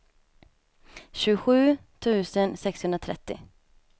tjugosju tusen sexhundratrettio